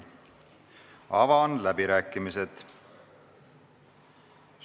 Avan läbirääkimised.